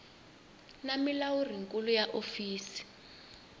na mulawuri nkulu wa hofisi